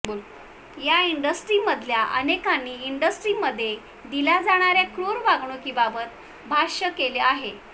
या इंडस्ट्रीमधल्या अनेकांनी इंडस्ट्रीमध्ये दिल्या जाणाऱ्या क्रूर वागणुकीबाबत भाष्य केलं आहे